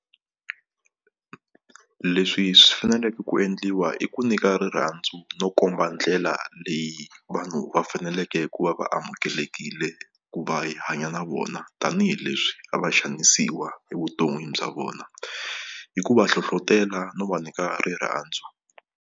Leswi swi faneleke ku endliwa i ku niyka rirhandzu no komba ndlela leyi vanhu va faneleke ku va va amukelekile ku va hi hanya na vona tanihileswi a va xanisiwa evuton'wini bya vona hi ku va hlohlotela no va nyika rirhandzu.